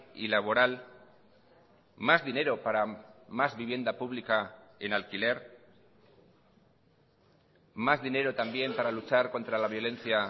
y laboral más dinero para más vivienda pública en alquiler más dinero también para luchar contra la violencia